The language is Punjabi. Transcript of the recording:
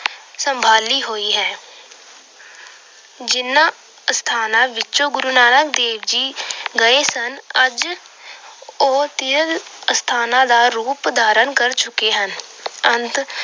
ਸੰਭਾਲੀ ਹੋਈ ਹੈ। ਜਿਹਨਾਂ ਅਸਥਾਨਾਂ ਵਿੱਚ ਗੁੁਰੂ ਨਾਨਕ ਦੇਵ ਜੀ ਗਏ ਸਨ, ਅੱਜ ਉਹ ਤੀਰਥ ਸਥਾਨਾਂ ਦਾ ਰੂਪ ਧਾਰਨ ਕਰ ਚੁੱਕੇ ਹਨ। ਅੰਤ